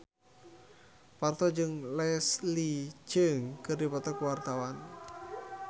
Parto jeung Leslie Cheung keur dipoto ku wartawan